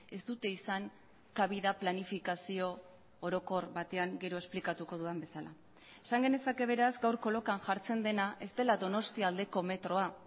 ez dute izan kabida planifikazio orokor batean gero esplikatuko dudan bezala esan genezake beraz gaurko lokan jartzen dena ez dela donostialdeko metroa